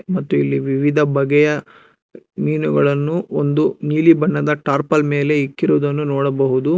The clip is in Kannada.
ಮತ್ತು ಇಲ್ಲಿ ವಿವಿಧ ಬಗೆಯ ಮೀನುಗಳನ್ನು ಒಂದು ನೀಲಿ ಬಣ್ಣದ ಟಾರ್ಪಲ್ ಮೇಲೆ ಇಕ್ಕಿರುವುದನ್ನು ನೋಡಬಹುದು.